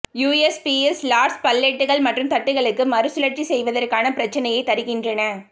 USPS lost பல்லெட்கள் மற்றும் தட்டுக்களும் மறுசுழற்சி செய்வதற்கான பிரச்சனையைத் தருகின்றன